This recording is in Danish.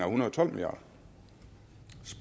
hundrede og tolv milliard